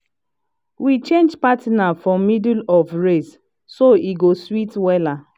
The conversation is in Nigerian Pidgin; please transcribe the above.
we change partner for middle of race so e go sweet wella